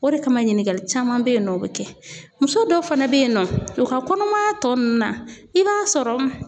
O de kama ɲininkali caman be yen nɔ o be kɛ .Muso dɔw fana be yen nɔ, u ka kɔnɔmaya tɔ nunnu na i b'a sɔrɔ